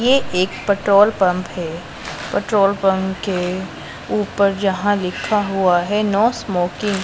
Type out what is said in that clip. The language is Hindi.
ये एक पेट्रोल पंप है पेट्रोल पंप के ऊपर जहां लिखा हुआ है नो स्मोकिंग --